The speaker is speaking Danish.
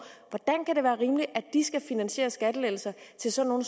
skal finansiere skattelettelser til sådan